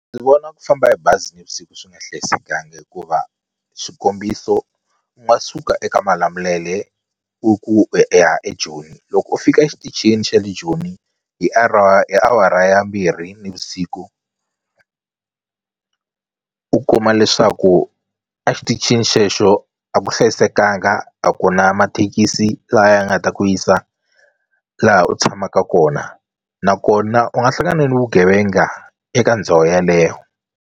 Ndzi vona ku famba hi bazi nivusiku swi nga hlayisekangi hikuva swikombiso u nga suka eka Malamulele u ku u ya eJoni loko u fika exitichini xa le Joni hi hi awara ya mbirhi nivusiku u kuma leswaku a xitichini xexo a ku hlayisekanga a ku na mathekisi la ya nga ta ku yisa laha u tshamaka kona nakona u nga hlangana ni vugevenga eka ndhawu yeleyo.